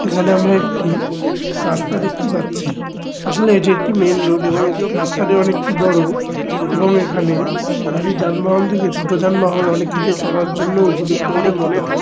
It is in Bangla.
এখানে আমরা একটি রাস্তা দেখতে পাচ্ছি। আসলে এটি একটি মেইন রোড এবং রাস্তাটি অনেকটি বড়ো এবং এখানে বড় যানবাহন থেকে ছোট যানবাহন অনেককিছুই চলার জন্য উপযুক্ত বলে মনে হয়।